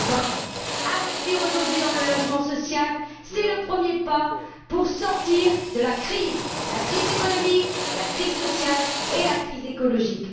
2020? Investir aujourd'hui dans le logement social, c'est le premier pas pour sortir de la crise, de la crise économique, de la crise sociale et de la crise écologique.